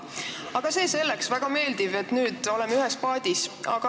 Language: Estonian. Aga see selleks, väga meeldiv, et nüüd oleme ühes paadis.